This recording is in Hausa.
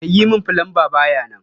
Mai yi min fulamba ba ya nan